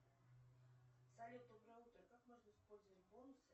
салют доброе утро как можно использовать бонусы